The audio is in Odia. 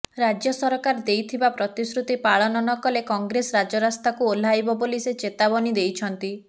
ରାଜ୍ୟ ସରକାର ଦେଇଥିବା ପ୍ରତିଶ୍ରୁତି ପାଳନ ନ କଲେ କଂଗ୍ରେସ ରାଜରାସ୍ତାକୁ ଓହ୍ଲାଇବ ବୋଲି ସେ ଚେତାବନୀ ଦେଇଛନ୍ତି